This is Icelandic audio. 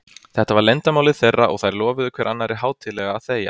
Þetta var leyndarmálið þeirra, og þær lofuðu hver annarri hátíðlega að þegja.